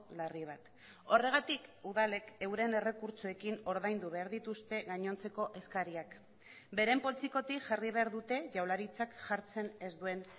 larri bat horregatik udalek euren errekurtsoekin ordaindu behar dituzte gainontzeko eskariak beren poltsikotik jarri behar dute jaurlaritzak jartzen ez duen